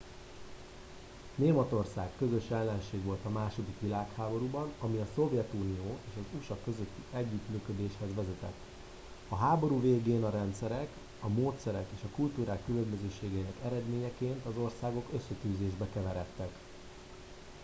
németország közös ellenség volt a második világháborúban ami a szovjetunió és az usa közötti együttműködéshez vezetett a háború végén a rendszerek a módszerek és a kultúrák különbözőségeinek eredményeként az országok összetűzésbe keveredtek